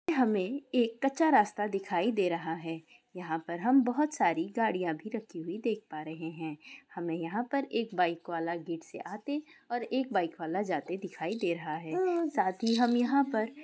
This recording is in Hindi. हमें एक कच्चा रास्ता दिखाई दे रहा है यहाँ पर हम बोहोत सारी गाड़ियां भी रखी हुई देख पा रहे हैं हमें यहाँ पर एक बाइक वाला गेट से आते और एक बाइक वाला जाते दिखाई दे रहा है साथी हम यहाँ पर।